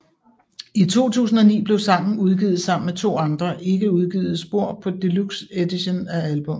I 2009 blev sangen udgivet sammen med to andre ikke udgivet spor på Deluxe Edition af albummet